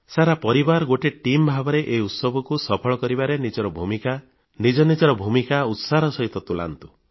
ସାରା ପରିବାର ଗୋଟିଏ ଟିମ୍ ଭାବରେ ଏହି ଉତ୍ସବକୁ ସଫଳ କରିବାରେ ନିଜର ଭୂମିକା ନିଜ ନିଜର ଭୂମିକା ଉତ୍ସାହର ସହିତ ତୁଲାନ୍ତୁ